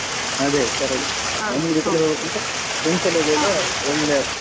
ಅದೇ correct family ಜೊತೆ ಹೋಗೋಕಿಂತ friends ಎಲ್ಲ ಹೋಗುವಾಗ ಒಳ್ಳೆದಾಗ್ತದೆ.